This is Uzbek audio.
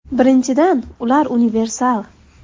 Birinchidan, ular universal.